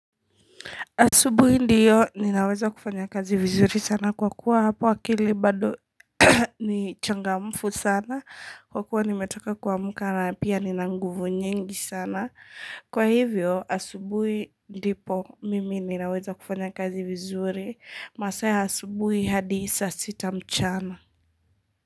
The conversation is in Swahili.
Asubui ndiyo ninaweza kufanya kazi vizuri sana kwa kuwa hapo akili bado ni changamfu sana kwa kuwa nimetoka kuamuka na pia nina nguvu nyingi sana kwa hivyo asubui ndipo mimi ninaweza kufanya kazi vizuri masaa ya asubui hadi saa sita mchana.